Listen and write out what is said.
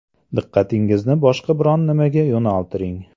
Diqqatingizni boshqa biron nimaga yo‘naltiring.